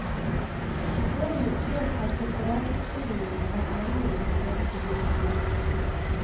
I årenes løp har separatutstillingene vært mange i den franske hovedstad.